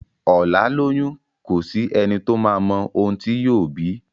ọlá lóyún kọ sí ẹní tó má òun tí yóò bí